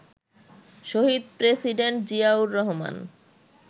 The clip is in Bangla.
শহীদ প্রেসিডেন্ট জিয়াউর রহমান